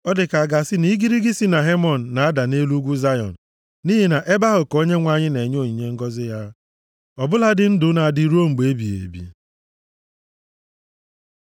Ọ dị ka a ga-asị na igirigi si na Hemon na-ada nʼelu nʼugwu Zayọn. Nʼihi na nʼebe ahụ ka Onyenwe anyị na-enye onyinye ngọzị ya, ọ bụladị ndụ na-adị ruo mgbe ebighị ebi.